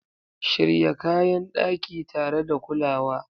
Shirya kayan daki tare da kulawa